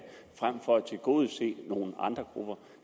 tilgodese nogle andre grupper